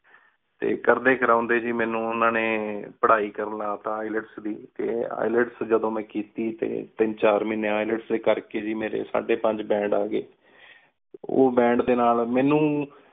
T ਕਰਦੀ ਕ੍ਰੋੰਡੀ ਗੀ ਮਨੁ ਓਹਨਾ ਨੀ ਪਢ਼ਾਈ ਕਰਨ ਲਾ ਤਾ IELTS ਦੀ ਟੀ IELTS ਜਦੋਂ ਮੇਨ ਕੀਤੀ ਤੀਨ ਚਾਰ ਮਹੀਨੀ IELTS ਡੀ ਕਰ ਕ ਗੀ ਮੇਰੀ ਸੱਦੀ ਪੰਚ Band ਆ ਗਏ ਓਹ Band ਡੀ ਨਾਲ ਮਨੁ